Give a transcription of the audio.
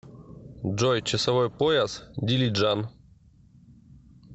джой часовой пояс дилиджан